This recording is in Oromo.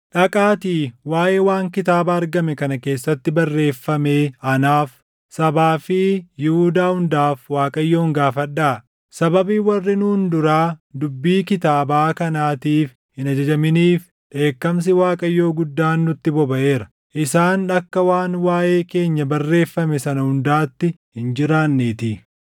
“Dhaqaatii waaʼee waan kitaaba argame kana keessatti barreeffamee anaaf, sabaa fi Yihuudaa hundaaf Waaqayyoon gaafadhaa. Sababii warri nuun duraa dubbii kitaabaa kanaatiif hin ajajaminiif dheekkamsi Waaqayyoo guddaan nutti bobaʼeera; isaan akka waan waaʼee keenya barreeffame sana hundaatti hin jiraanneetii.”